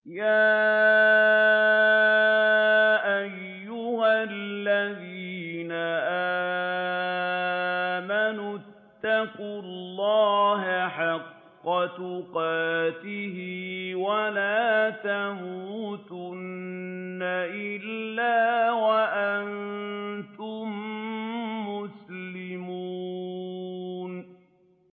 يَا أَيُّهَا الَّذِينَ آمَنُوا اتَّقُوا اللَّهَ حَقَّ تُقَاتِهِ وَلَا تَمُوتُنَّ إِلَّا وَأَنتُم مُّسْلِمُونَ